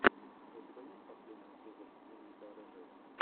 у тебя есть последний эпизод дневника рыжего